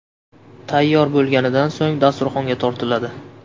Tayyor bo‘lganidan so‘ng dasturxonga tortiladi.